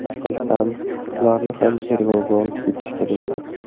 Bilsam, ularni ham tergovga olib ketishgan ekan.